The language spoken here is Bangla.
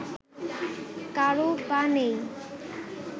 কারও পা নেই